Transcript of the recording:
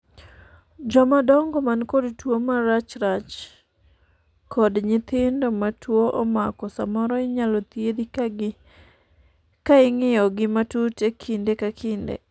joma dongo man kod tuo marachrach kod nyithindo ma tuo omako samoro inyalo thiedhi ka ing'iyo gi matut kinde ka kinde